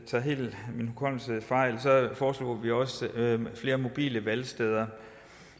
tager helt fejl foreslog vi også flere mobile valgsteder